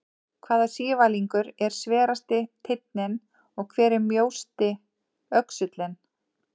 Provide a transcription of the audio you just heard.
Hvaða sívalningur er sverasti teinninn og hver er mjósti öxullinn?